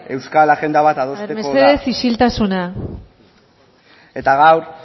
euskal agenda bat adosteko da mesedez isiltasuna eta gaur